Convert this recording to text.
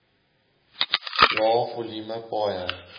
lae volume paaie